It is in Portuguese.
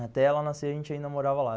Até ela nascer, a gente ainda morava lá.